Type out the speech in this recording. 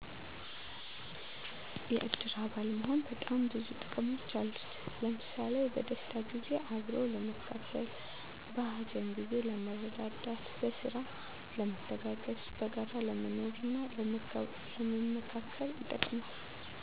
የእድር አባል መሆን በጣም ብዙ ጥቅሞች አሉት። ለምሣሌ፦ በደስታ ጊዜ አብሮ ለመካፈል፣ በሀዘን ጊዜ ለመረዳዳት፣ በስራ ለመተጋገዝ፣ በጋራ ለመኖርና ለመመካከር ይጠቅማል።